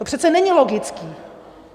To přece není logické!